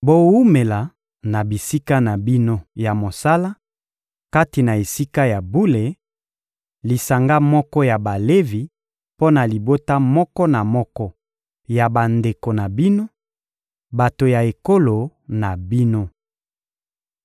Bowumela na bisika na bino ya mosala kati na Esika ya bule: lisanga moko ya Balevi mpo na libota moko na moko ya bandeko na bino, bato ya ekolo na bino.